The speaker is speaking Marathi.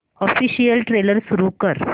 ऑफिशियल ट्रेलर सुरू कर